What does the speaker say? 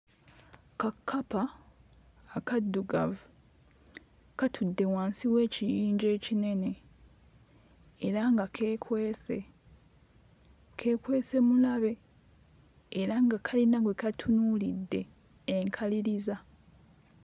Kakkapa akaddugavu katudde wansi w'ekiyinja ekinene era nga keekwese, keekwese mulabe, era nga kayina gwe katunuulidde enkaliriza.